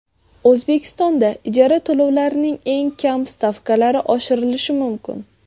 O‘zbekistonda ijara to‘lovlarining eng kam stavkalari oshirilishi mumkin.